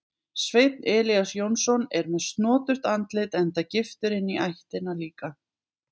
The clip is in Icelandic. Sveinn Elías Jónsson er með snoturt andlit enda giftur inní ættina líka.